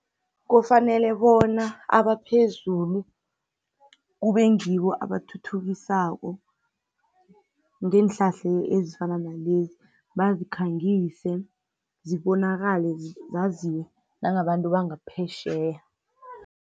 Kufanele bona abaphezulu kube ngibo abathuthukisako ngeenhlahla ezifana nalezi bazikhangise zibonakale nangebantwini bangaphetjheya.